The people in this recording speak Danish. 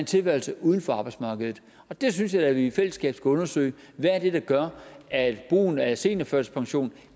tilværelse uden for arbejdsmarkedet det synes jeg da vi i fællesskab skulle undersøge hvad er det der gør at brugen af seniorførtidspension